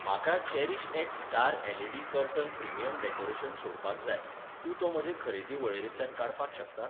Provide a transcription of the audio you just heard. म्हाका CherishX star LED. Curtain premium decoration सोडपाक जाय, तूं तो म्हजे खरेदी वळेरेंतल्यान काडपाक शकता?